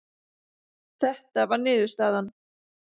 Þetta var niðurstaðan.